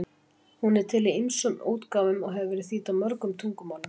Hún er til í ýmsum útgáfum og hefur verið þýdd á mörg tungumál.